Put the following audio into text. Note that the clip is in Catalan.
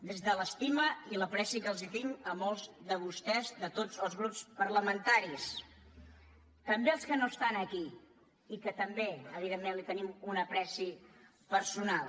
des de l’estima i l’ apreci que els tinc a molts de vostès de tots els grups parlamentaris també als que no estan aquí i que també evidentment els tenim un apreci personal